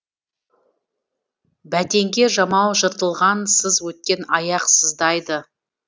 бәтеңке жамау жыртылған сыз өткен аяқ сыздайды